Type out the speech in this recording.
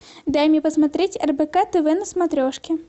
дай мне посмотреть рбк тв на смотрешке